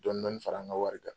Dɔnin dɔɔnin fara an ka wari kan